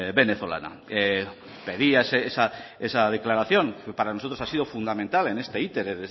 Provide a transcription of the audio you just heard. venezolana pedía esa declaración que para nosotros ha sido fundamental en este